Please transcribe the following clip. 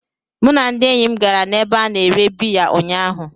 Mụ na ndị enyi m gara n'ebe a na-ere biya ụnyahụ.